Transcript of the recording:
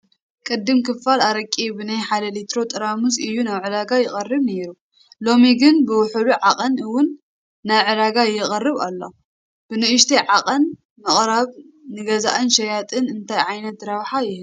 ቅድም ክፍል ኣረቂ ብናይ ሓደ ሊትሮ ጠርሙዝ እዩ ናብ ዕዳጋ ይቐርብ ነይሩ፡፡ ሎሚ ግን ብውሑድ ዓቐን እውን ናብ ዕዳጋ ይቐርብ ኣሎ፡፡ ብንኡሽተይ ዓቐን ምቕራቡ ንገዛእን ሸያጥን እንታይ ዓይነት ረብሓ ይህብ?